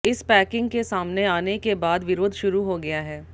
इस पैकिंग के सामने आने के बाद विरोध शुरू हो गया है